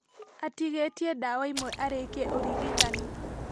Atigĩtie ndawa ĩmwe arĩkie ũrigitani